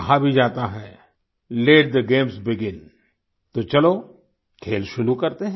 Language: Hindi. कहा भी जाता है लेट थे गेम्स बेगिन तो चलो खेल शुरू करते हैं